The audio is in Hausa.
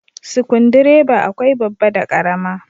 Sikundireba akwai babba da karama.